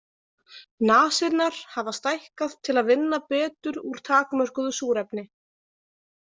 Nasirnar hafa stækkað til að vinna betur úr takmörkuðu súrefni.